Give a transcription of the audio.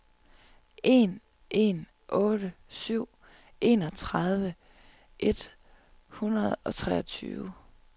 en en otte syv enogtredive et hundrede og treogtyve